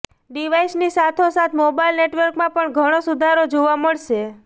ડિવાઈસની સાથોસાથ મોબાઈલ નેટવર્કમાં પણ ધણો સુધારો જોવા મળશે